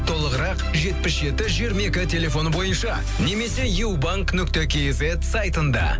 толығырақ жетпіс жеті жиырма екі телефоны бойынша немесе юбанк нүкте кизет сайтында